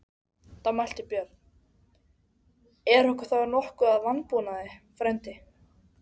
Þá mælti Björn: Er okkur þá nokkuð að vanbúnaði, frændi?